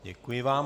Děkuji vám.